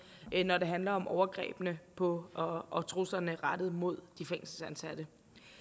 når det handler om overgrebene på og og truslerne rettet mod de fængselsansatte